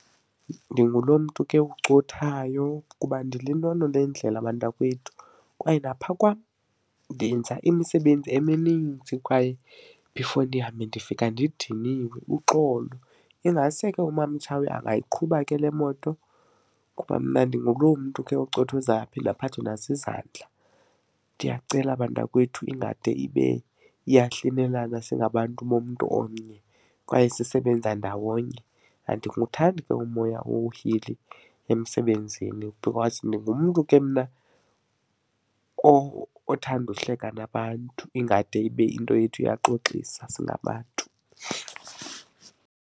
Ndingulo mntu ke ucothayo kuba ndililolo lendlela bantakwethu kwaye naphaa kwam ndenza imisebenzi emininzi kwaye before ndihambe ndifika ndidiniwe, uxolo. Ingase ke uMamTshawe angayiqhuba ke le moto kuba mna ndinguloo mntu ke ucothozayo aphinde aphathwe nazizandla. Ndiyacela bantakwethu ingade ibe iyahlinelana singabantu bomntu omnye kwaye sisebenza ndawonye. Andikuthandi ke umoya ohili emsebenzini because ndingumntu ke mna othanda uhleka nabantu ingade ibe into yethu iyaxoxisa singabantu.